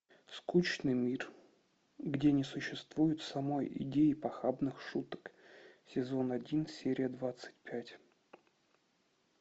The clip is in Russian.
скучный мир где не существует самой идеи похабных шуток сезон один серия двадцать пять